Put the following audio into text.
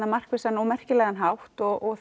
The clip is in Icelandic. markvissan og merkilegan hátt og